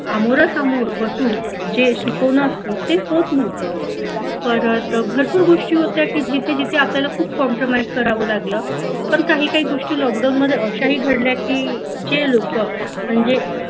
आमोरा समोर बसून जे शिकवलं असत ते होत नव्हतं परत भरपूर गोष्टी होत्या की जिथे जिथे आपल्याला खूप compromise करावं लागलं पण काही काही गोष्टी लॉकडाऊन मध्ये अशाही घडल्या की जे लोक म्हणजे